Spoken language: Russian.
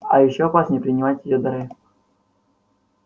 а ещё опаснее принимать её дары